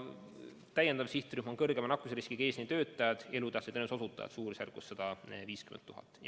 Täiendav sihtrühm on kõrgema nakkusriskiga eesliinitöötajad, elutähtsate teenuste osutajad, keda on suurusjärgus 150 000.